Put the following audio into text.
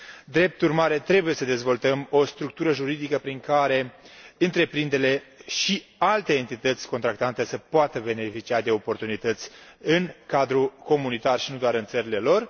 Drept urmare, trebuie să dezvoltăm o structură juridică prin care întreprinderile și alte entități contractante să poată beneficia de oportunități în cadrul comunitar și nu doar în țările lor.